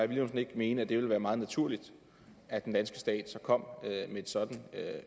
villumsen ikke mene at det ville være meget naturligt at den danske stat så kom med et sådant